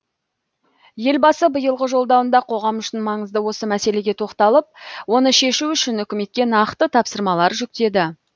елбасы биылғы жолдауында қоғам үшін маңызды осы мәселеге тоқталып оны шешу үшін үкіметке нақты тапсырмалар жүктеді